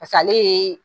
ale ye